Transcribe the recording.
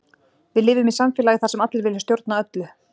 Við lifum í samfélagi þar sem allir vilja stjórna öllu.